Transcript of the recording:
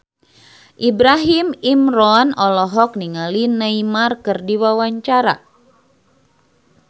Ibrahim Imran olohok ningali Neymar keur diwawancara